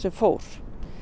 fór